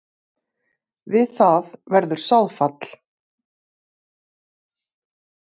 Við það verður sáðfall.